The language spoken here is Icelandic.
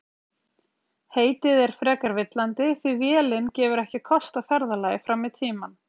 Heitið er frekar villandi því vélin gefur ekki kost á ferðalagi fram í tímann.